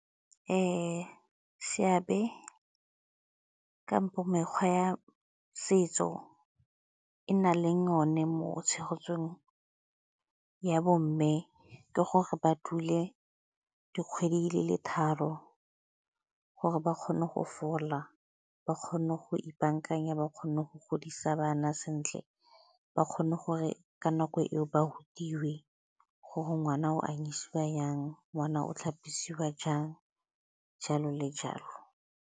Seabe kampo mekgwa ya setso e na leng one mo tshegetsong ya bomme ke gore ba dule dikgwedi di le tharo gore ba kgone go fola, ba kgone go ipaakanya, ba kgone go godisa bana sentle, ba kgone gore ka nako eo ba rutiwe gore ngwana o anyisiwa jang, ngwana o tlhapisiwa jang, jalo le jalo.